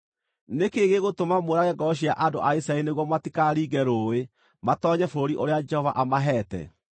Nĩ kĩĩ gĩgũtũma mũũrage ngoro cia andũ a Isiraeli nĩguo matikaringe rũũĩ matoonye bũrũri ũrĩa Jehova amaheete?